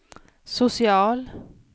social